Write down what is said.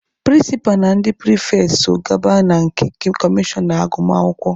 Prịnsịpa na ndị pịrịfetị so gaba na nke kọmishọna agụmakwụkwọ.